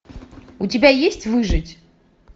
у тебя есть выжить